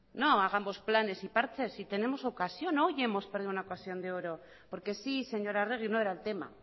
no hagamos planes ni parches si tenemos ocasión hoy hemos perdido una ocasión de oro porque sí señora arregi no era el tema